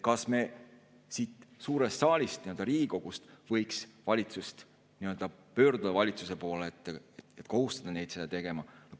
Kas me siit suurest saalist, Riigikogust võiks pöörduda valitsuse poole, et kohustada neid seda tegema?